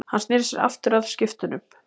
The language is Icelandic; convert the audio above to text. Hann sneri sér aftur að skriftunum.